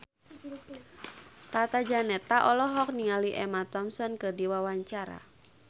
Tata Janeta olohok ningali Emma Thompson keur diwawancara